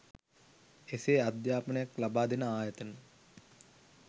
එසේ අධ්‍යාපනයක් ලබා දෙන ආයතන